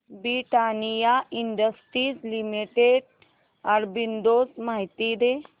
Britannia industries limited arbitrage माहिती दे